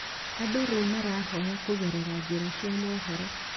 Andũ rĩu marahoya kũgerera njĩra cia mohoro